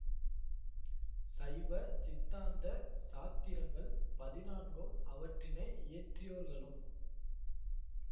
சைவ சித்தாந்த சாத்திரங்கள் பதினான்கும் அவற்றினை இயற்றியோர்களும்